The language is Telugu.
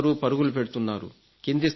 అందరూ పరుగులు పెడుతున్నారు